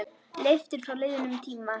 Leiftur frá liðnum tíma.